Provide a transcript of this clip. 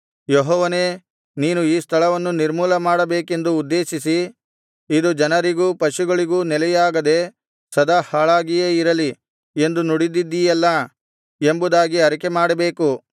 ಯೆಹೋವನೇ ನೀನು ಈ ಸ್ಥಳವನ್ನು ನಿರ್ಮೂಲಮಾಡಬೇಕೆಂದು ಉದ್ದೇಶಿಸಿ ಇದು ಜನರಿಗೂ ಪಶುಗಳಿಗೂ ನೆಲೆಯಾಗದೆ ಸದಾ ಹಾಳಾಗಿಯೇ ಇರಲಿ ಎಂದು ನುಡಿದಿದ್ದೀಯಲ್ಲಾ ಎಂಬುದಾಗಿ ಅರಿಕೆಮಾಡಬೇಕು